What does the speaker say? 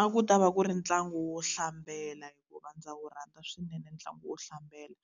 A ku ta va ku ri ntlangu wo hlambela hikuva ndza wu rhandza swinene ntlangu wo hlambela.